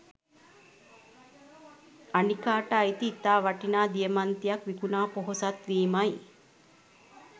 අනිකාට අයිති ඉතා වටිනා දියමන්තියක් විකුනා පෝසත් වීමයි